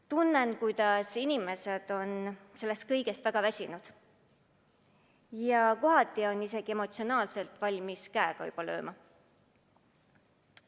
Tunnen, kuidas inimesed on sellest kõigest väga väsinud ja paljud on emotsionaalselt valmis käega lööma.